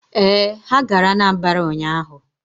Ee, ha gara Anambara ụnyaahụ.